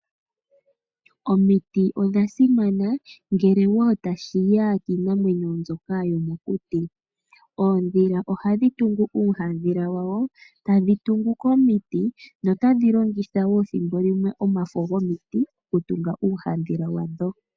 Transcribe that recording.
Omiti oshasimana ngele tashi ya kiinamwenyo mbyoka yomokuti. Oondhila ohadhi tungu uuhandhila wadho komiti no hadhi vulu okulongitha omafo gomiti okutunga uuhandhila wadho.